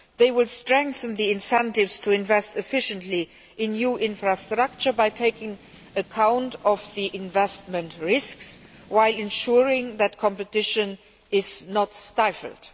They will strengthen the incentives to invest efficiently in new infrastructure by taking account of the investment risks, while ensuring that competition is not stifled.